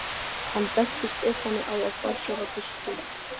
Hann benti Stefáni á að fá sér á diskinn.